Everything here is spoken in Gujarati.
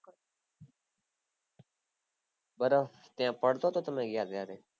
બરફ ત્યાં પડતો હતો તમે ગયા ત્યારે